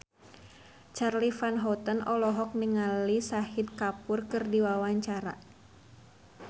Charly Van Houten olohok ningali Shahid Kapoor keur diwawancara